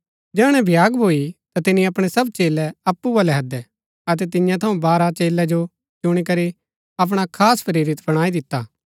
जैहणै भ्याग भूई ता तिनी अपणै सब चेलै अप्पु बलै हैदै अतै तियां थऊँ बारह चेलै जो चुणी करी अपणा खास प्रेरित बणाई दिता